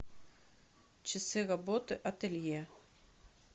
часы работы ателье